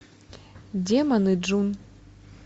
демоны джун